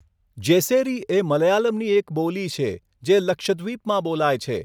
જેસેરી એ મલયાલમની એક બોલી છે, જે લક્ષદ્વીપમાં બોલાય છે.